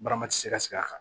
Barama ti se ka sigi a kan